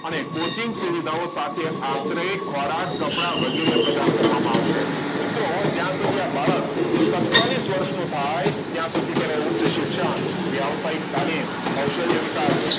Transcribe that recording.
આને coaching સુવિધાઓ સાથે આશરે ખોરાક કપડાં વગેરે પ્રદાન કરવામાં આવશે મિત્રો હવે જ્યાં સુધી આ બાળક સત્યાવિસ વર્ષનો થાય ત્યાં સુધી તેને ઊંચ શિક્ષણ વ્યવસાયિક તાલીમ કૌશલ્ય વિકાસ